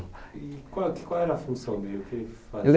E qual qual era a função dele? O que ele fazia? Ele